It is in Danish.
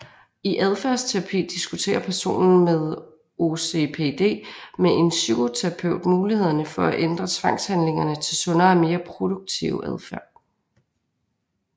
I adfærdsterapi diskuterer personen med OCPD med en psykoterapeut mulighederne for at ændre tvangshandlinger til sundere og mere produktive adfærd